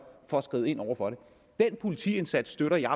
for at skride ind over for det den politiindsats støtter jeg